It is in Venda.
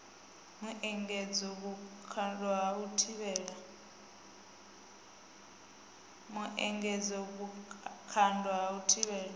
muengedzo vhukando ha u thivhela